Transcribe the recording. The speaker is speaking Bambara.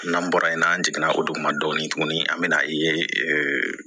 N'an bɔra yen n'an jiginna o dugu ma dɔɔnin tuguni an bɛ na ye